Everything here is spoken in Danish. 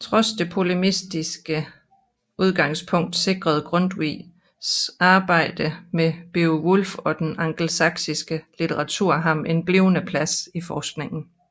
Trods det polemiske udgangspunkt sikrede Grundtvigs arbejde med Beowulf og den angelsaksiske litteratur ham en blivende plads i forskningen